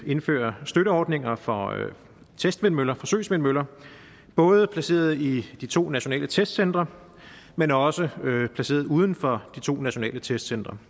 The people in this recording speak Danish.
indføre støtteordninger for testvindmøller forsøgsvindmøller både placeret i de to nationale testcentre men også placeret uden for de to nationale testcentre